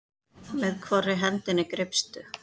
Með hvorri hendinni greipstu?